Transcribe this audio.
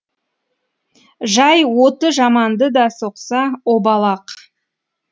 жай оты жаманды да соқса обал ақ